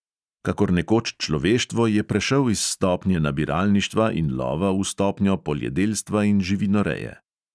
Kakor nekoč človeštvo je prešel iz stopnje nabiralništva in lova v stopnjo poljedelstva in živinoreje.